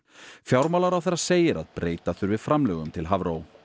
fjármálaráðherra segir að breyta þurfi framlögum til Hafró